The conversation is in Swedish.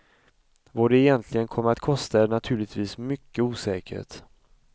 Vad det egentligen kommer att kosta är naturligtvis mycket osäkert.